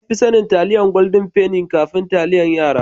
Anfi sanin Taliyan Golden penny kafin taliyan yara.